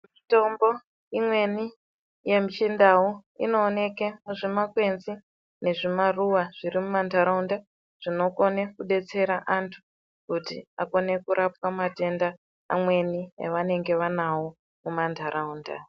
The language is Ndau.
Mitombo imweni yemuchindau inooneke muzvimakwenzi nezvimaruva zvirimumantaraunda zvinokone kudetsera antu kuti akone kurapwa matenda amweni avanenge vanawo mumantaraunda.